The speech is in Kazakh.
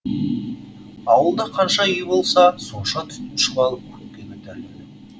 ауылда қанша үй болса сонша түтін шұбалып көкке көтеріледі